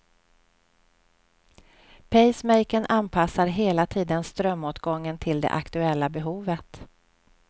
Pacemakern anpassar hela tiden strömåtgången till det aktuella behovet.